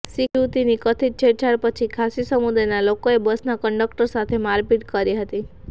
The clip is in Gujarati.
શીખ યુવતીની કથિત છેડછાડ પછી ખાસી સમુદાયનાં લોકોએ બસના કંડક્ટર સાથે મારપીટ કરી હતી